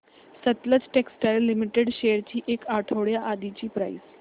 Sutlej textiles limited shares ची एक आठवड्या आधीची प्राइस